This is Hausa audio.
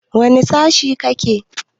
Wane sashe kake?